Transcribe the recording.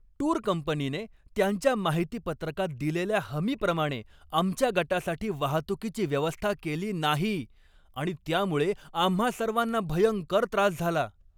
Tour कंपनीने त्यांच्या माहितीपत्रकात दिलेल्या हमीप्रमाणे आमच्या गटासाठी वाहतुकीची व्यवस्था केली नाही आणि त्यामुळे आम्हां सर्वांना भयंकर त्रास झाला.